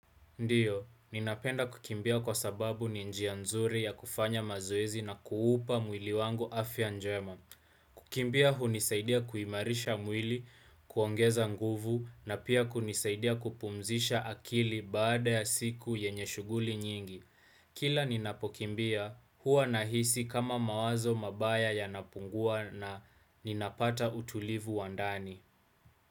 Ndiyo, ninapenda kukimbia kwa sababu ni njia nzuri ya kufanya mazoezi na kuupa mwili wangu afya njema. Kukimbia hunisaidia kuimarisha mwili, kuongeza nguvu, na pia kunisaidia kupumzisha akili baada ya siku yenye shughuli nyingi. Kila ninapokimbia, huwa nahisi kama mawazo mabaya yanapungua na ninapata utulivu wa ndani.